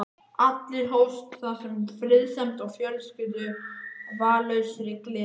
Allt hófst það með friðsemd og fölskvalausri gleði.